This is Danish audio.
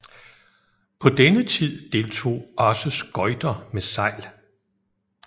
På denne tid deltog også skøjter med sejl